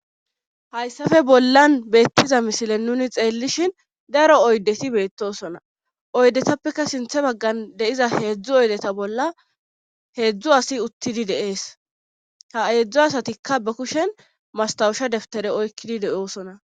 hayssafe bollan beettiza misilen nuni xeellishin daro oydeti beettosona oydetappeka sinthe baggan deiza heedzdzu oydeta bolla heedzdzu asi uttidi deees ha eedzdzo asatikka ba kushen mastawusha deftere oykkidi de7oosona